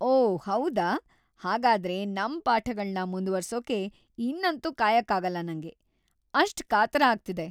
ಓಹ್‌ ಹೌದಾ!‌ ಹಾಗಾದ್ರೆ ನಮ್ ಪಾಠಗಳ್ನ ಮುಂದ್ವರ್ಸೋಕೆ ಇನ್ನಂತೂ ಕಾಯೋಕಾಗಲ್ಲ ನಂಗೆ.. ಅಷ್ಟ್ ಕಾತರ ಆಗ್ತಿದೆ!